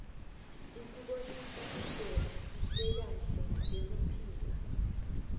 isibonisa indlela lekahle yekuphila